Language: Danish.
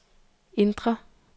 indre